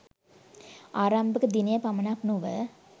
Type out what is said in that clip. ආරම්භක දිනය පමණක් නොව